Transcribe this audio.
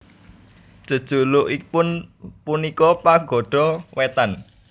Jejulukipun punika Pagoda Wetan